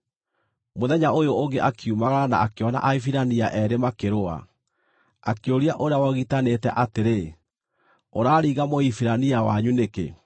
Mũthenya ũyũ ũngĩ akiumagara na akĩona Ahibirania eerĩ makĩrũa. Akĩũria ũrĩa wogitanĩte atĩrĩ, “Ũraringa Mũhibirania wanyu nĩkĩ?”